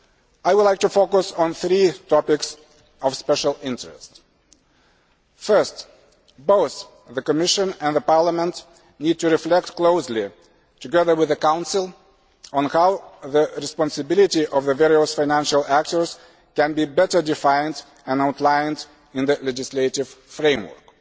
I would like to focus on three topics of special interest. First, both the Commission and Parliament need to reflect closely, together with the Council, on how the responsibility of the various financial actors can be better defined and outlined in the legislative framework.